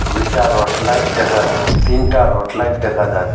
দুইটা rod light দেখা ত তিনটা রট লাইট দেখা যা --